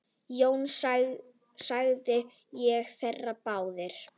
Jón þagði og þeir báðir.